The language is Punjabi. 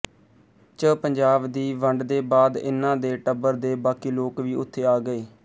ਚ ਪੰਜਾਬ ਦੀ ਵੰਡਦੇ ਬਾਦ ਇਨ੍ਹਾਂ ਦੇ ਟੱਬਰ ਦੇ ਬਾਕੀ ਲੋਕ ਵੀ ਉਥੇ ਆ ਗਏ